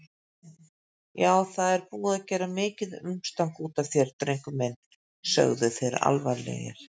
Já, það er búið að gera mikið umstang útaf þér, drengur minn, sögðu þeir alvarlegir.